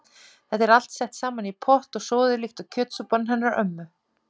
Þetta er allt sett saman í pott og soðið líkt og kjötsúpan hennar ömmu.